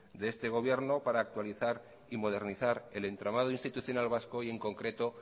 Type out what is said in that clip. de este gobierno para actualizar y modernizar el entramado institucional vasco y en concreto